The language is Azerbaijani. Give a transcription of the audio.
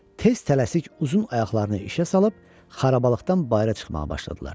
Tez tələsik uzun ayaqlarını işə salıb xarabalqdan bayıra çıxmağa başladılar.